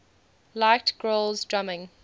liked grohl's drumming